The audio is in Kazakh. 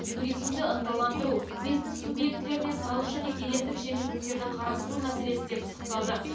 туризмді ынталандыру бизнес субъектілеріне салық және кедендік жеңілдіктерді қарастыру мәселесі де пысықталды